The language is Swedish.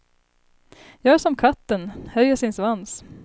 Gör som katten, höjer sin svans.